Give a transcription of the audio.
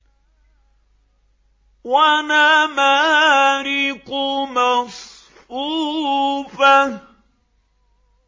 وَنَمَارِقُ مَصْفُوفَةٌ